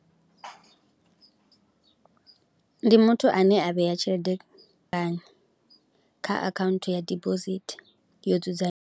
Ndi muthu ane a vhea tshelede kha akhaunthu ya dibosithi yo dzudzanya.